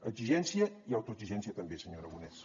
exigència i autoexigència també senyor aragonès